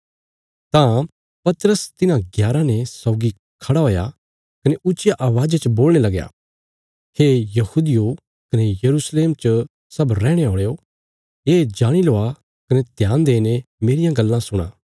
तां पतरस तिन्हां ग्याराँ ने सौगी खड़ा हुया कने ऊच्चिया अवाज़ा च बोलणे लगया हे यहूदियो कने यरूशलेम च सब रैहणे औल़यो ये जाणी लवा कने ध्यान देईने मेरियां गल्लां सुणा